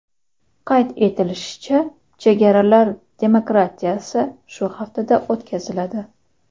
Qayd etilishicha, chegaralar demarkatsiyasi shu haftada o‘tkaziladi.